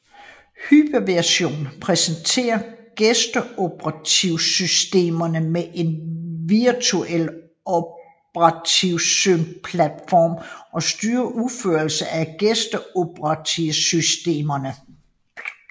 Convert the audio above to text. Hypervisoren præsenterer gæsteoperativsystemerne med en virtuel operativsystemplatform og styrer udførelsen af gæsteoperativsystemerne